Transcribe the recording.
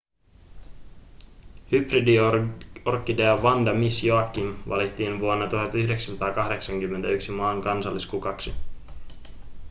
hybridiorkidea vanda miss joaquim valittiin vuonna 1981 maan kansalliskukaksi